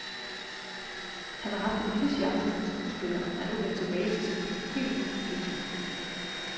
Han har haft en lille chance som skuespiller og er nu vendt tilbage til sin by helt uden illusioner.